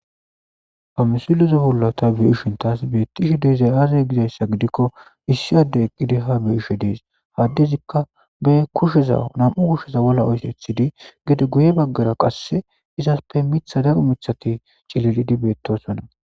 famisilizo hullata be ishin taas bettishi deezay aazey gizayssa gidikko issiade eqqidi ha be ishe dees haddezikka be kusheza nam7u kusheza wolla oysethidi gede guye baggara qasse izaspe mitha daru mithati cillilidi beettosonna